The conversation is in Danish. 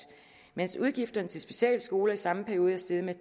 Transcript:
mens udgifterne til specialskoler i samme periode er steget med